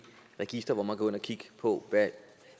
register hvor man kan gå ind og kigge på